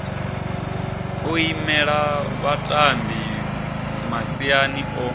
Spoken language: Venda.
o imela vhatambi masiani o